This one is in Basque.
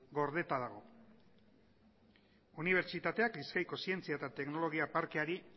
gordeta dago unibertsitateak bizkaiko zientzia eta teknologia parkeari